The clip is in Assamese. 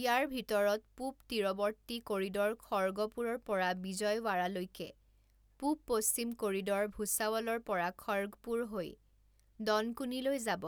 ইয়াৰ ভিতৰত পূব তীৰৱৰ্তী কৰিডৰ খৰ্গপুৰৰ পৰা বিজয়ৱাড়ালৈকে, পূব পশ্চিম কৰিডৰ ভূছাৱলৰ পৰা খৰ্গপুৰ হৈ দনকুনীলৈ যাব